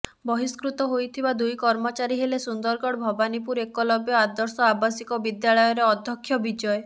ବହିସ୍କୃତ ହୋଇଥିବା ଦୁଇ କର୍ମଚାରୀ ହେଲେ ସୁନ୍ଦରଗଡ ଭବାନୀପୁର ଏକଲବ୍ୟ ଆଦର୍ଶ ଆବାସିକ ବିଦ୍ୟାଳୟର ଅଧ୍ୟକ୍ଷ ବିଜୟ